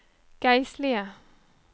geistlige